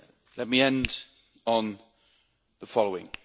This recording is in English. Let me end on the following.